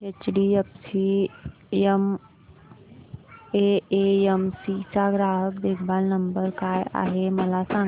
HDFC AMC चा ग्राहक देखभाल नंबर काय आहे मला सांग